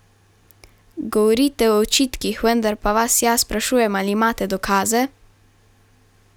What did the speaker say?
Govorite o očitkih, vendar pa vas jaz sprašujem, ali imate dokaze?